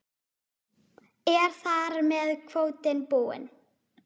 Er þar með kvótinn búinn?